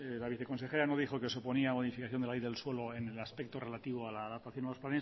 la viceconsejera no dijo que suponía modificación de la ley del suelo en el aspecto relativo a la adaptación a los